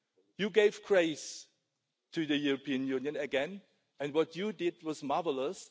You gave grace to the European Union again and what you did was marvellous.